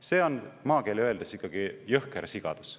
See on maakeeli öeldes ikkagi jõhker sigadus.